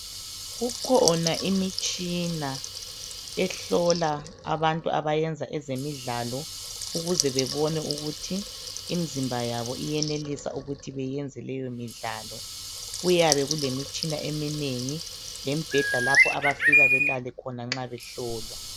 Kukhona imitshina ehlola abantu abayenza ezemidlalo ukuze bebone ukuthi imizimba yabo iyenelisa ukuthi beyenze leyo midlalo, kuyabe kulemitshina eminengi lembheda abafika belale khona nxa behlolwa.